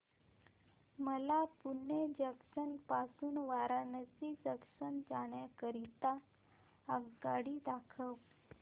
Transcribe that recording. मला पुणे जंक्शन पासून वाराणसी जंक्शन जाण्या करीता आगगाडी दाखवा